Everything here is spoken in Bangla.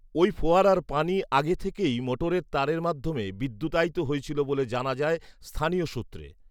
ঐফোয়ারার পানি আগে থেকেই মোটরের তারের মাধ্যমে বিদ্যুতায়িত হয়েছিল বলে জানা যায় স্থানীয় সূত্রে